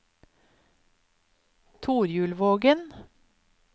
Torjulvågen